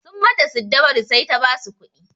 Sun mata siddabaru sai ta basu kuɗi.